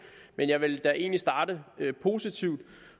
men jeg vil egentlig starte positivt